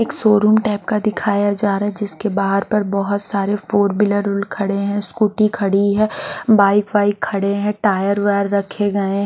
एक showroom type का दिखाया जा रहा है जिसके बहार पर बहुत सारे फोर व्हीलर उर खड़े है स्कूटी खड़ी है बाइक वाईक खड़े है टायर रखे गए--